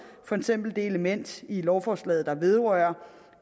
for eksempel det element i lovforslaget der vedrører